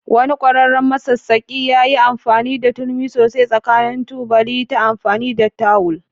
Wani ƙwararren masassaƙi ya yi amfani da turmi sosai tsakanin tubali ta amfani da tawul.